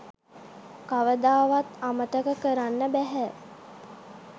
කවදාවත් අමතක කරන්න බැහැ.